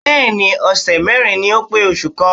Bẹ́ẹ̀ni ọ̀sẹ̀ mẹ́rin ni ó pé oṣù kan.